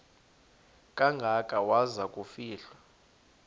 kangaka waza kufihlwa